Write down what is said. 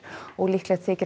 og líklegt þykir